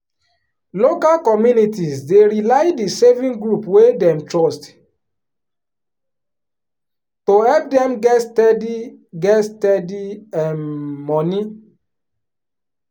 local communities dey rely the saving group wey dem trust to help dem get steady get steady um money.